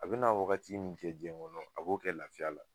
A bɛna wagati min diɲɛ kɔnɔ a b'o kɛ lafiya la